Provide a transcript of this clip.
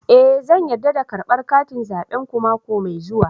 Eh zan yarda da karbar katin zabenku mako mai zuwa